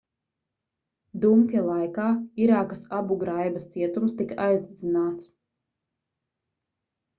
dumpja laikā irākas abugraibas cietums tika aizdedzināts